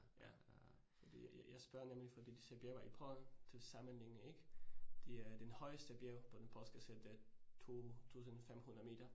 Ja, ja ja fordi jeg jeg spørger nemlig fordi disse bjerge i Polen til sammenligning ik? De er den højeste bjerg på den polske side det 2500 meter